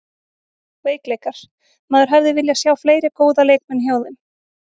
Veikleikar: Maður hefði viljað sjá fleiri góða leikmenn hjá þeim.